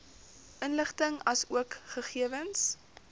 inligting asook gegewens